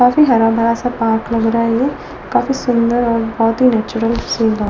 काफी हराभरा सा पार्क रहा है काफी सुंदर और बहुत ही नेचुरल सीन लग--